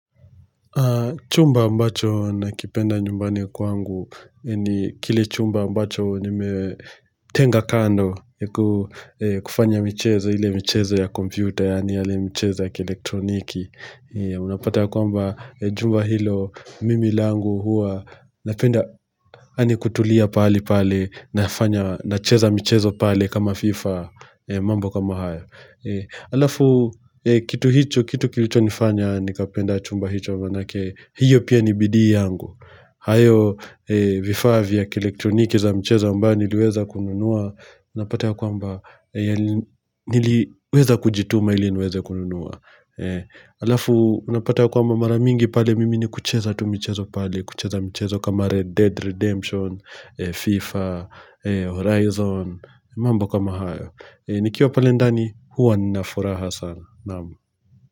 Chumba ambacho nakipenda nyumbani kwangu ni kile chumba ambacho nimetenga kando kufanya michezo ile michezo ya kompyuta yani mchezo ya kielektroniki. Unapata ya kwamba jumba hilo mimi langu huwa napenda yani kutulia pahali pale nacheza michezo pale kama fifa mambo kama haya. Alafu kitu hicho, kitu kilicho nifanya nikapenda chumba hicho manake hiyo pia ni bidii yangu hayo vifaa vya kielektroniki za mchezo ambayo niliweza kununua Napata ya kwamba niliweza kujituma ili niweze kununua Alafu unapata ya kwamba mara mingi pale mimi ni kucheza tu mchezo pale kucheza mchezo kama Red Dead Redemption, FIFA, Horizon mambo kama hayo nikiwa pale ndani huwa nina furaha sana naam.